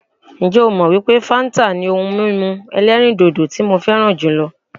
Ǹjẹ́ ó mọ wípé fáńtà ni ohun mímu ẹ̀lẹ́rìndodò tí mo fẹràn jùlọ?